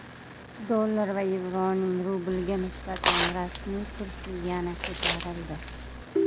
Dollar va yevroning rublga nisbatan rasmiy kursi yana ko‘tarildi.